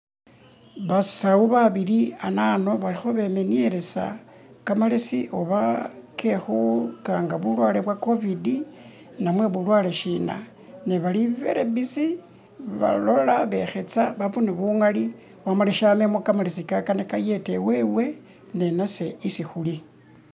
Basawo babili anano balikho bemenyelesa kamalesi oba kekukanga bulwale bwa covid namwe bulwale shina ne bali very busy balola bekhesa babone bungali bamale shamemo kamelesi ka kana kayete wewe ninase isi khuli